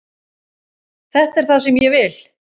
Þetta er það sem ég vil.